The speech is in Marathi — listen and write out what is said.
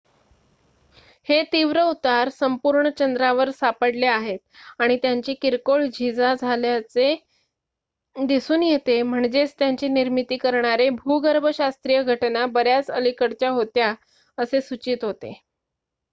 हे तीव्र उतार संपूर्ण चंद्रावर सापडले आहेत आणि त्यांची किरकोळ झीजा झाल्याचे दिसून येते म्हणजेच त्यांची निर्मिती करणारे भूगर्भशास्त्रीय घटना बऱ्याच अलिकडच्या होत्या असे सूचित होते